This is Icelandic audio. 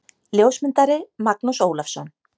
Ljósmyndari: Magnús Ólafsson.